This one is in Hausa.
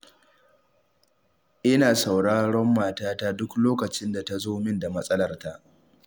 Ina sauraron matata duk lokacin da ta zo min da matsalarta